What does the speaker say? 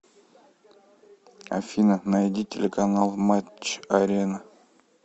афина найди телеканал матч арена